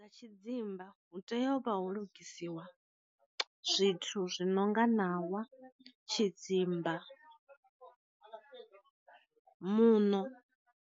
Tshi dzimba hu tea u vha hu lugisiwa zwithu zwinonga ṋawa, tshidzimba, muṋo.